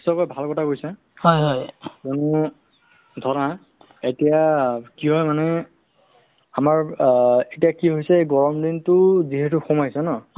to covid যুদ্ধৰ সম ক্ষেত্ৰততো বা ক'ভিড nineteen ৰ ক্ষেত্ৰততো duty দিছিলে তেনেক্ষেত্ৰত duty কৰিও বহুত মানুহ চিনাকি হৈছে area ৱে~ wise মানে ধৰা বেলেগ area ত দিছে তাতো চিনাকি হ'ল